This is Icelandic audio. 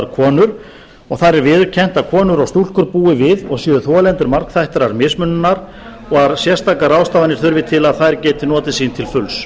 konur og þar er viðurkennt að konur og stúlkur búi við og séu þolendur margþættrar mismununar og að sérstakar ráðstafanir þurfi til að þær geti notið sín til fulls